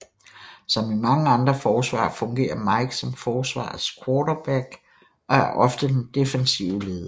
Som i mange andre forsvar fungerer Mike som forsvarets quarterback og er ofte den defensive leder